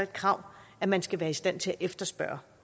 krav at man skal være i stand til at efterspørge